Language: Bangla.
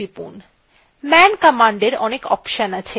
বাইরে আসতে q টিপুন